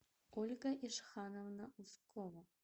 ольга ишхановна ускова